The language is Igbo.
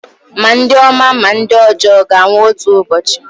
ma ndị ọma ma ndị ọjọọ ga-anwụ otu ụbọchị